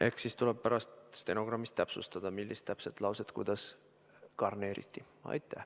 Eks siis tuleb pärast stenogrammist täpsustada, millist lauset kuidas garneeriti.